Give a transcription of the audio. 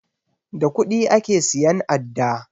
Da kuɗi ake siyan adda